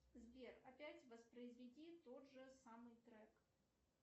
сбер опять воспроизведи тот же самый трек